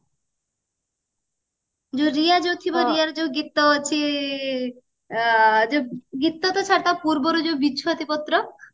ଯୋଉ ରିୟା ଯୋଉ ଥିବ ରିୟାର ଯୋଉ ଗୀତ ଅଛି ଅ ଯୋଉ ଗୀତ ତ ଛାଡ ତା ପୂର୍ବରୁ ଯୋଉ ବିଛୁଆତି ପତ୍ର